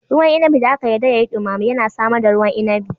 Ruwan inabi da aka yarda ya yi dumame yana samar da ruwan inabi